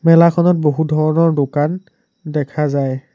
মেলাখনত বহুধৰণৰ দোকান দেখা যায়।